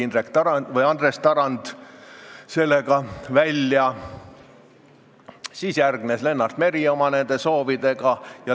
Esimesena tuli sellega välja Andres Tarand, järgnes Lennart Meri oma soovidega.